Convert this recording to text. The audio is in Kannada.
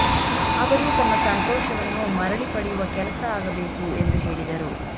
ಅವರು ತಮ್ಮ ಸಂತೋಷವನ್ನು ಮರಳಿ ಪಡೆಯುವ ಕೆಲಸ ಆಗಬೇಕು ಎಂದು ಹೇಳಿದರು